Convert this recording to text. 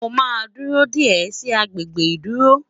Mó má dúró dé e sì agbègbè ìdúró